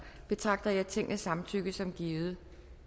betragter jeg tingets samtykke som givet